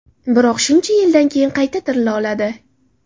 Biroq shuncha yildan keyin qayta ‘tirila’ oladi.